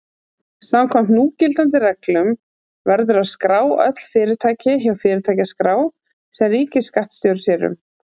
Samkvæmt núgildandi reglum verður að skrá öll fyrirtæki hjá fyrirtækjaskrá sem ríkisskattstjóri sér um.